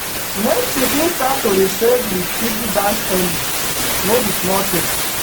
make pikin start to dey save with piggy bank early no be small thing.